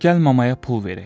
Gəl mamaya pul verək.